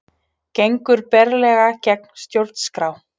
Gengur berlega gegn stjórnarskrá